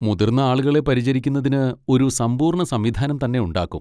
മുതിർന്ന ആളുകളെ പരിചരിക്കുന്നതിന് ഒരു സമ്പൂർണ്ണ സംവിധാനം തന്നെ ഉണ്ടാക്കും.